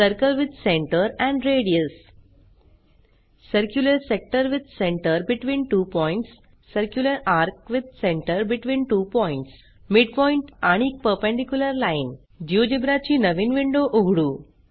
circle with centre and radius circular sector with centre between two points circular ARC with centre between two points midpoint आणि perpendicular line GeoGebra ची नवीन window उघडू